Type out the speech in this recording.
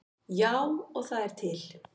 Já, og það er til.